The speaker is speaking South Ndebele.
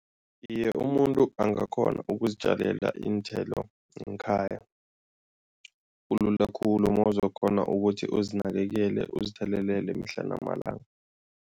Iye, umuntu angakghona ukuzitjalela iinthelo ngekhaya, kulula khulu mawuzokghona ukuthi uzinakekele uzithelelele mihla namalanga.